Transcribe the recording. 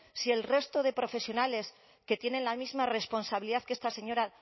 si el resto de profesionales que tienen la misma responsabilidad que esta señora